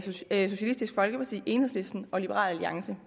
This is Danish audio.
socialistisk folkeparti enhedslisten og liberal alliance